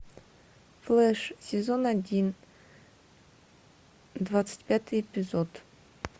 флеш сезон один двадцать пятый эпизод